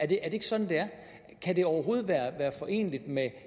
det ikke sådan det er kan det overhovedet være foreneligt med